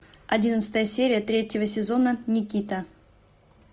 одиннадцатая серия третьего сезона никита